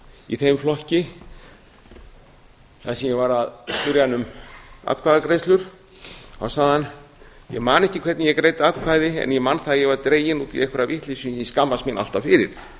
í þeim flokki þar sem ég var að spyrja hann um atkvæðagreiðslur sagði hann ég man ekki hvernig ég greiddi atkvæði en ég man það að ég var dreginn út í einhverja vitleysu sem ég skammast mín alltaf fyrir